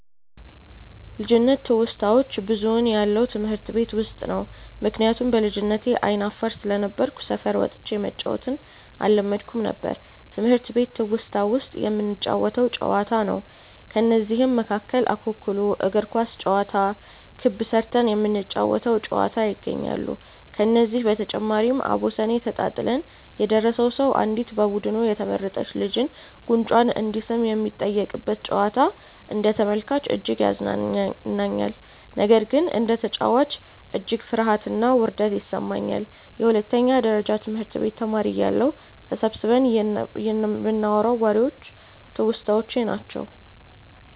ልጅነት ትውስታዋች ብዙውን ያለው ትምህርት ቤት ውስጥ ነው። ምክንያቱም በልጅነቴ አይነ አፋር ስለነበርኩ ሰፈር ወጥቼ መጫዎትን አለመድኩም ነበር። ትምህርት ቤት ትውስታ ውስጥ የምንጫወተው ጨዋታ ነው። ከነዚህም መካከል እኩኩሉ፣ እግር ኳስ ጨዋታ፣ ክብ ስርተን የምንጫወ ተው ጨዋታ ይገኛሉ። ከዚህ በተጨማሪም አቦሰኔ ተጣጥለን የደረሰው ሰው አንዲት በቡዱኑ የተመረጥች ልጅን ጉንጯን እንዲስም የሚጠየቅበት ጨዋታ አንደ ተመልካች እጅግ ያዝናናኛል። ነገር ግን እንደ ተጨዋች እጅግ ፍርሀትና ውርደት ይሰማኛል። የሁለተኛ ደረጀ ትምህርት ቤት ተማሪ እያለሁ ተሰብስበን ይንናዋራቸው ዎሬዎች ትውስታዎቼ ናቸው።